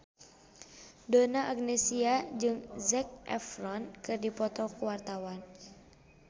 Donna Agnesia jeung Zac Efron keur dipoto ku wartawan